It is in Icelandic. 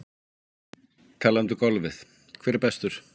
Talandi um golfið hver er bestur?